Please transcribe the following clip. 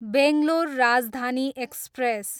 Bangalore Rajdhani express